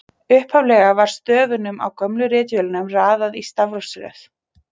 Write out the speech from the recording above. Upphaflega var stöfunum á gömlu ritvélunum raðað í stafrófsröð.